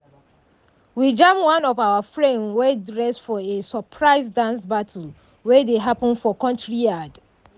we jam one of our friend wey dress for a surprise dance battle wey dey happen for courtyard.